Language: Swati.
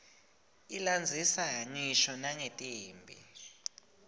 ilandzisa ngisho nangetimphi